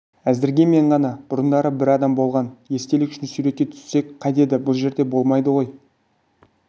әзірге мен ғана бұрындары бір адам болған естелік үшін суретке түссек қайтеді бұл жерде болмайды ғой